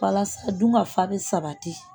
Walasa dun ka fa bɛ sabati